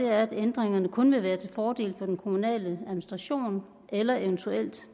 er at ændringerne kun vil være til fordel for den kommunale administration eller eventuelt